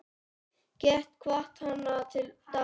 Get hvatt hana til dáða.